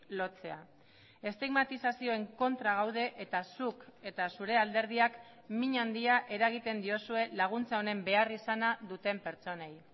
lotzea estigmatizazioen kontra gaude eta zuk eta zure alderdiak min handia eragiten diozue laguntza honen beharrizana duten pertsonei